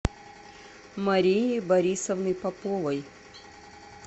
марии борисовны поповой